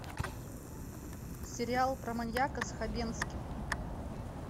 сериал про маньяка с хабенским